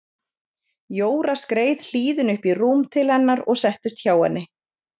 Jóra skreið hlýðin upp í rúm til hennar og settist hjá henni.